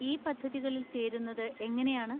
ഈ പദ്ധതികളിൽ ചേരുന്നത് എങ്ങനെയാണ്?